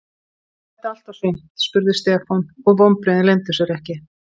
Var þetta allt og sumt? spurði Stefán og vonbrigðin leyndu sér ekki.